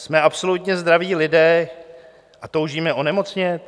Jsme absolutně zdraví lidé a toužíme onemocnět?